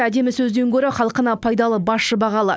әдемі сөзден гөрі халқына пайдалы басшы бағалы